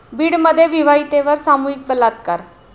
बीडमध्ये विवाहितेवर सामूहिक बलात्कार